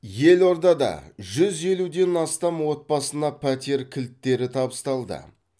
елордада жүз елуден астам отбасына пәтер кілттері табысталды